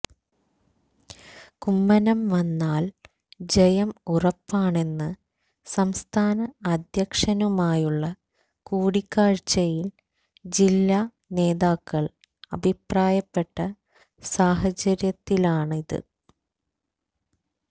കുമ്മനം വന്നാൽ ജയം ഉറപ്പാണെന്ന് സംസ്ഥാന അദ്ധ്യക്ഷനുമായുള്ള കൂടിക്കാഴ്ചയിൽ ജില്ലാ നേതാക്കൾ അഭിപ്രായപ്പെട്ട സാഹചര്യത്തിലാണിത്